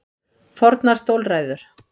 Fornar stólræður.